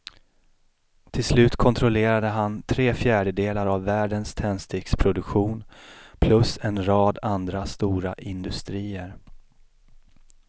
Till slut kontrollerade han tre fjärdedelar av världens tändsticksproduktion plus en rad andra stora industrier.